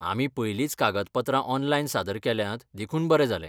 आमी पयलींच कागदपत्रां ऑनलायन सादर केल्यांत देखून बरें जालें.